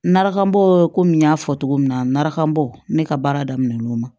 Narakanbɔ komi n y'a fɔ cogo min na n nara kabo ne ka baara daminɛ n'o ma